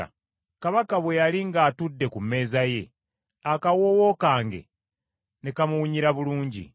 Kabaka bwe yali ng’atudde ku mmeeza ye, akawoowo kange ne kamuwunyira bulungi.